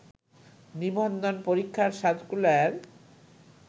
নিবন্ধন পরীক্ষার সার্কুলার